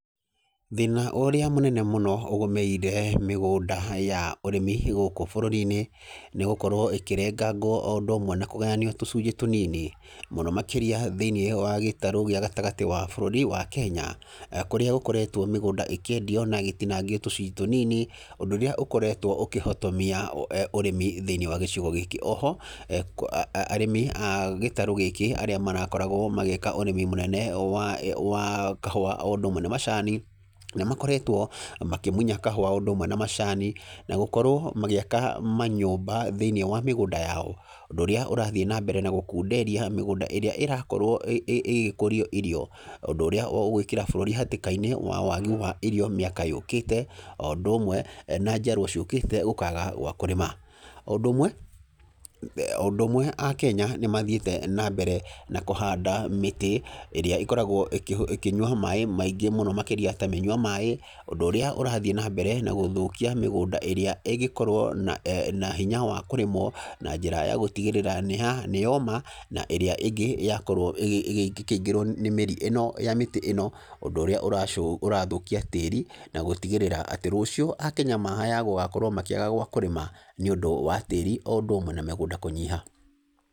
Thĩna ũrĩa mũnene mũno ũgũmĩire mĩgũnda ya ũrĩmi gũkũ bũrũri-inĩ, nĩ gũkorwo ĩkĩrengangwo o ũndũ ũmwe na kũgayanio tũcunjĩ tũnini. Mũno makĩria thĩiniĩ wa gĩtarũ gĩa gatagatĩ wa bũrũri wa Kenya, kũrĩa gũkoretwo mĩgũnda ĩkĩendio na ĩgĩtinangio tũcunjĩ tũnini, ũndũ ũrĩa ũkoretwo ũkĩhotomia ũrĩmi thĩiniĩ wa gĩcigo gĩkĩ. Oho, arĩmi a gĩtarũ gĩkĩ arĩa marakoragwo magĩka ũrĩmi mũnene wa wa kahũa o ũndũ ũmwe na macani, nĩ makoretwo makĩmunya kahũa o ũndũ ũmwe na macani, na gũkorwo magĩaka manyũmba thĩiniĩ wa mĩgũnda yao. Ũndũ ũrĩa ũrathiĩ na mbere na gũkunderia mĩgũnda ĩrĩa ĩrakorwo ĩgĩkũrio irio. Ũndũ ũrĩa ũgũĩkĩra bũrũri hatĩka-inĩ wa wagi wa irio mĩaka yũkĩte, o ũndũ ũmwe na njiarwa ciũkĩte gũkaga gwa kũrĩma. O ũndũ ũmwe, o ũndũ ũmwe Akenya nĩ mathiĩte na mbere na kũhanda mĩtĩ, ĩrĩa ĩkoragwo ĩkĩnyua maĩ maingĩ mũno makĩria ta mĩnyua maĩ, ũndũ ũrĩa ũrathiĩ na mbere na gũthũkia mĩgũnda ĩrĩa ĩngĩkorwo na na hinya wa kũrĩmwo, na njĩra ya gũtigĩrĩra nĩ nĩ yoma, na ĩrĩa ĩngĩ yakorwo ĩgĩkĩingĩrwo na mĩri ĩno ya mĩtĩ ĩno, ũndũ ũrĩa ũrathũkia tĩri, na gũtigĩrĩra rũciũ Akenya maya gũgakorwo makĩaga gwa kũrĩma nĩ ũndũ wa tĩri o ũndũ ũmwe na mĩgũnda kũnyiha.